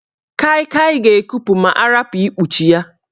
Kai Kai ga-ekupu ma arapu ikpuchi ya.